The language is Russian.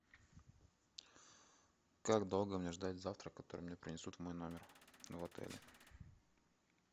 как долго мне ждать завтрак который мне принесут в мой номер в отеле